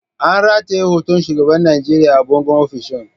An rataye hoton shugaban Najeriya a bangon ofishin.